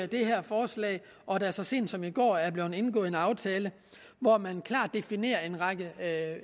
det her forslag og at der så sent som i går er blevet indgået en aftale hvor man klart definerer en række